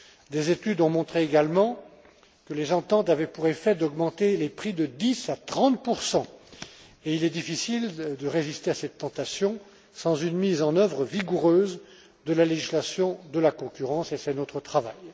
Des études ont montré également que les ententes avaient pour effet d'augmenter les prix de 10 à 30 et il est difficile de résister à cette tentation sans une mise en œuvre vigoureuse de la législation de la concurrence, et c'est notre travail.